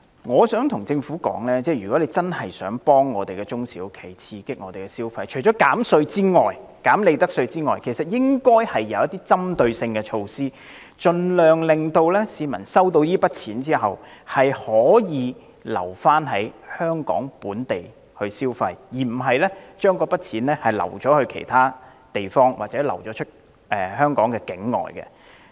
我想告訴政府，如真的想協助中小企，刺激市民消費，除寬減利得稅外還應推行針對性的措施，盡量令市民在收到這筆錢後留港作本地消費，而不是將之用於其他地方或用作境外消費。